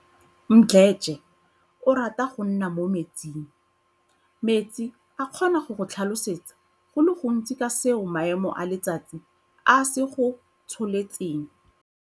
Mdletshe o rata go nna mo metsing. Metsi a kgona go go tlhalosetsa go le gontsi ka seo maemo a letsatsi a se go tsholetseng.